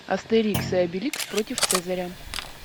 астерикс и обеликс против цезаря